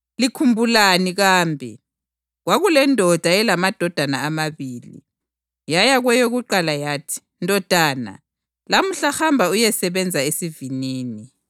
“Likhumbulani kambe? Kwakulendoda eyayilamadodana amabili. Yaya kweyokuqala yathi, ‘Ndodana, lamuhla hamba uyesebenza esivinini.’